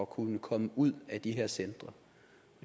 kunne komme ud af de her centre